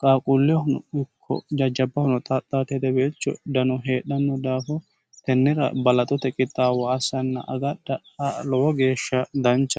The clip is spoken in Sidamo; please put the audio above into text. qaaquullehono ikko jajjabbahono xaxaati hedebeelcho dano heedhanno daafo tennira balaxote qixaawo assanna agadha lowo geeshsha dancha